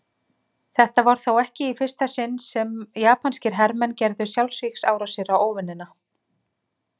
Þetta var þó ekki í fyrsta sinn sem japanskir hermenn gerðu sjálfsvígsárásir á óvinina.